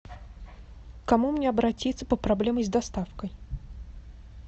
к кому мне обратиться по проблеме с доставкой